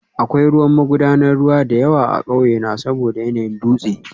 Akwai ruwan magudanar ruwa da yawa a ƙauyena saboda yanayin dutse